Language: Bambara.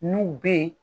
N'u be yen